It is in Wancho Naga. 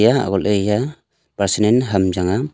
eya ole ya pasanan ham changa.